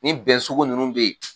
Nin bɛn sugu ninnu bɛ yen